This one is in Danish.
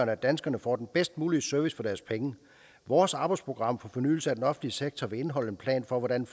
at danskerne får den bedst mulige service for deres penge vores arbejdsprogram for fornyelse af den offentlige sektor vil indeholde en plan for hvordan